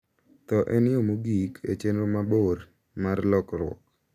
Tho en yo mogik e chenro mabor mar lokruok.